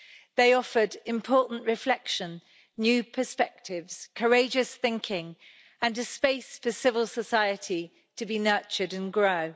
They offered important reflection, new perspectives, courageous thinking, and a space for civil society to be nurtured and grow.